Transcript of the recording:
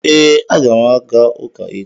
Ee, aga m aga ụka echi